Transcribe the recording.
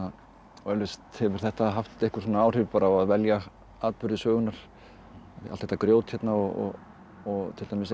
eflaust hefur þetta haft einhver áhrif á að velja atburði sögunnar allt þetta grjót hérna og og til dæmis eitt